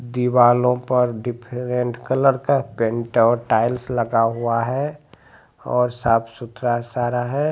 दीवालों पर different colour का पेंट और टाइल्स लगा हुआ है और साफ सुथरा सारा है।